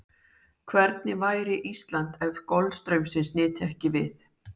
Hvernig væri Ísland ef golfstraumsins nyti ekki við?